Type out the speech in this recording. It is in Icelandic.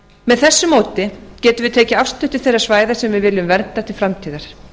með þessu móti getum við tekið afstöðu til þeirra svæða sem við viljum vernda til framtíðar